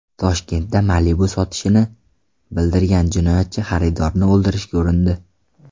Toshkentda Malibu sotishini bildirgan jinoyatchi xaridorni o‘ldirishga urindi.